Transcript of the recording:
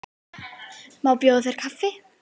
Má bjóða þér kaffi?